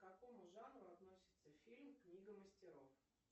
к какому жанру относится фильм книга мастеров